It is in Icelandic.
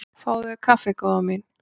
Fáðu þér kaffi góða mín.